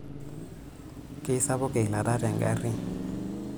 Keisapuk eilata tengari.